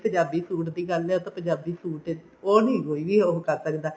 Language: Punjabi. ਪੰਜਾਬੀ suit ਦੀ ਗੱਲ ਐ ਉਹ ਤਾਂ ਪੰਜਾਬੀ suit ਉਹ ਨੀ ਕੋਈ ਵੀ ਉਹ ਕਰ ਸਕਦਾ